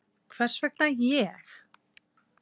Hvers vegna ég?